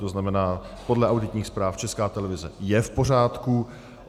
To znamená, podle auditních zpráv Česká televize je v pořádku.